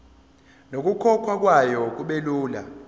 nokukhokhwa kwayo kubelula